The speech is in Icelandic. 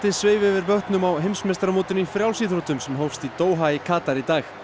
sveif yfir vötnum á heimsmeistaramótinu í frjálsíþróttum sem hófst í Doha í Katar í dag